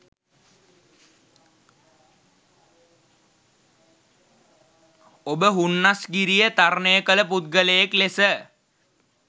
ඔබ හුන්නස්ගිරිය තරණය කල පුද්ගලයෙක් ලෙස